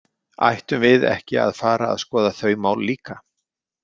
Ættum við ekki að fara að skoða þau mál líka?